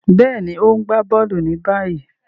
Béèni, o n gbà bóòlù ni báyìí.